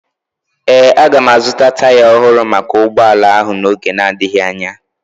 Ee, aga m azụta taya ọhụrụ maka ụgbọala ahụ n'oge na-adịghị anya